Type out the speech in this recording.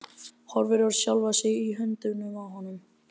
Horfir á sjálfa sig í höndunum á honum.